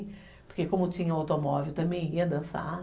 Porque como tinha automóvel, também ia dançar.